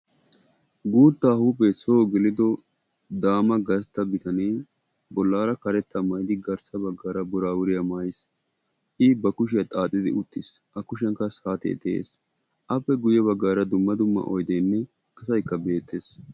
Guutta huuphphee so geelido daama gastta biitane bollara karetta maayidi garssa baggara buraburiya maayiis. I ba kushiya xaaxidi uttiis. A kushiyan qassi saatee de'ees. Appe guuye baggara dumma dumma oyddene asaay betees.